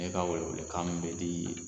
E ka welewelekan min bɛ di